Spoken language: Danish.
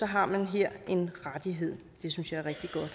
har man her en rettighed det synes jeg